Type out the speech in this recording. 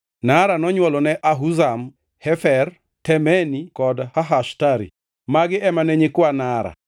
Naara nonywolone Ahuzam, Hefer, Temeni kod Hahashtari. Magi ema ne nyikwa Naara.